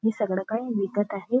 ते सगळं काही विकत आहे.